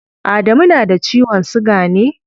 Adamu na da ciwon siga ne?